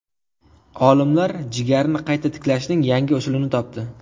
Olimlar jigarni qayta tiklashning yangi usulini topdi.